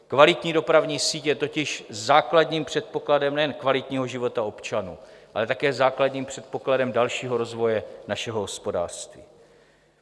Kvalitní dopravní síť je totiž základním předpokladem nejen kvalitního života občanů, ale také základním předpokladem dalšího rozvoje našeho hospodářství.